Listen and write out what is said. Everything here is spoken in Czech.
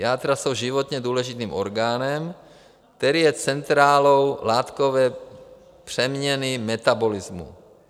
Játra jsou životně důležitým orgánem, který je centrálou látkové přeměny - metabolismu.